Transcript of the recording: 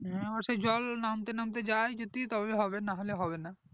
অবশ্যয় জল নামতে নামতে যায় যদি তবে হবে নাহলে হবেনা